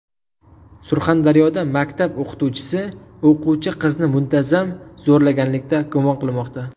Surxondaryoda maktab o‘qituvchisi o‘quvchi qizni muntazam zo‘rlaganlikda gumon qilinmoqda.